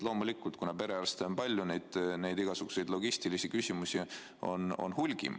Loomulikult, kuna perearste on palju, siis igasuguseid logistilisi küsimusi on hulgi.